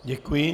Děkuji.